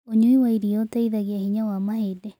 Ũnyũĩ wa ĩrĩa ũteĩthagĩa hinya wa mahĩndĩ